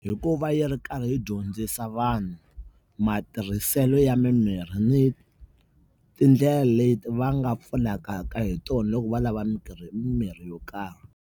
Hikuva yi ri karhi yi dyondzisa vanhu matirhiselo ya mimirhi ni tindlela leti va nga pfunekaka hi tona loko va lava mimirhi, mimirhi yo karhi.